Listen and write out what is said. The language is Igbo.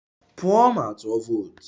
Pụọ ma tụọ vootu!